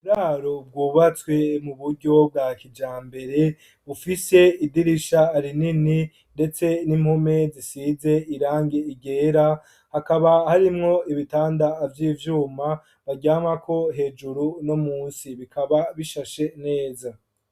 Uburaro bwubatswe mu buryo bwa kijambere bufise idirisha rinini ndetse n'impome zisize irangi ryera hakaba harimwo ibitanda vy'ivyuma baryamako hejuru no munsi, bikaba bishashe neza.